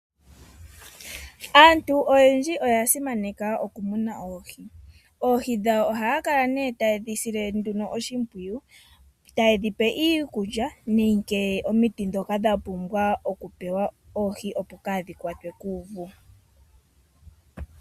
Aantu oyendji oya simana oku muna oohi. Oohi dhawo ohaye dhi sile oshimpwiyu taye dhipe iikulya nenge omiti ndhoka dha pumbwa oku pewa oohi opo kaadhi kwatwe kuuvu.